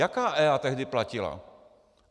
Jaká EIA tehdy platila?